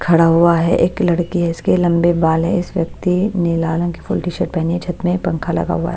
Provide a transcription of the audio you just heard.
खड़ा हुआ है एक लड़की है इसके लंबे बाल हैं इस व्यक्ति ने लाल रंग की फुल टीशर्ट पहनी है छत में पंखा लगा हुआ है।